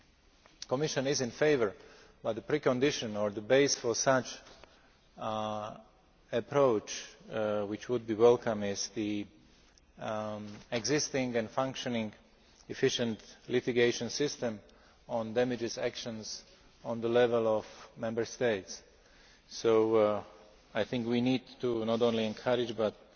The Commission is in favour, but the precondition or the base for such an approach, which would be welcome, is an existing and functioning efficient litigation system on damages actions at the level of Member States. So I think we need to not only encourage but